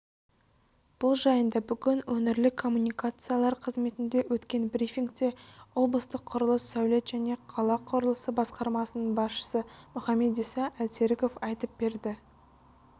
бұл жайында бүгін өңірлік коммуникациялар қызметінде өткен брифингте облыстық құрылыс сәулет және қала құрылысы басқармасының басшысы мұхамедиса әлсеріков айтып берді